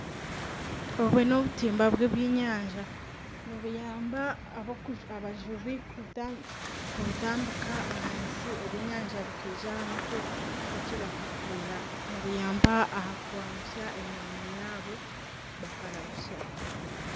Obwo n'obutimba bw'ebyenyaja nibuyamba abajubi kubutambika ahansi ebyenyanja bikaija aha mutwe batyo bakakurura nibuyamba aha kwangutsya emirimo yaabo bakarahutsya.